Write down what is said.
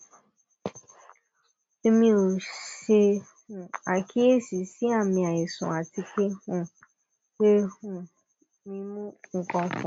èmi o se um àkíyèsí sí àmì àìsàn àti pé um pé um mi mu ǹkankan